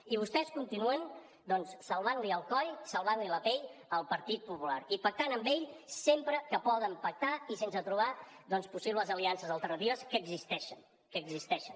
i vostès continuen doncs salvant li el coll salvant li la pell al partit popular i pactant amb ell sempre que poden pactar i sense trobar possibles aliances alternatives que existeixen que existeixen